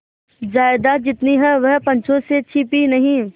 जायदाद जितनी है वह पंचों से छिपी नहीं